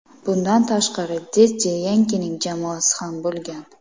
Bundan tashqari, Deddi Yankining jamoasi ham bo‘lgan.